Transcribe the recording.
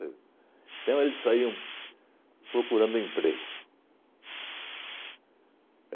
Então, eles saíam procurando emprego.